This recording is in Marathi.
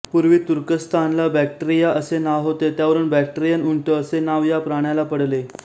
पू्र्वी तुर्कस्तानला बॅक्ट्रीया असे नाव होते त्यावरून बॅक्ट्रीयन उंट असे नाव या प्राण्याला पडले